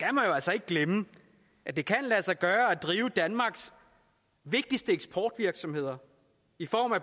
jo altså ikke glemme at det kan lade sig gøre at drive danmarks vigtigste eksportvirksomheder